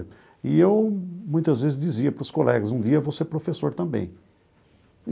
E eu muitas vezes dizia para os colegas, um dia vou ser professor também.